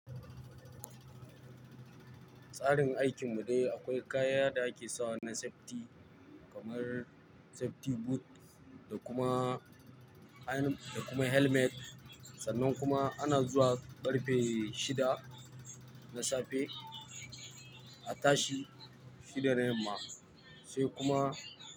Tsarin aikin mu dai akwai kaya da ake sawa na safety kamar safety boot da kuma ha-- da kuma helmet sannan kuma ana zuwa ƙarfe shida na safe a tashi shida na yamma sai kuma.